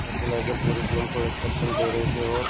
organiser पूरी team को instruction दे रहे थे और